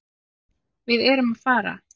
Við erum að fara.